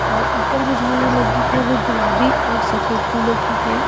और ऊपर जो झालर लगी है वो गुलाबी और सफेद फूलों की है।